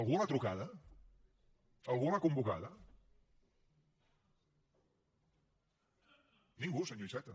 algú li ha trucat algú l’ha convocada ningú senyor iceta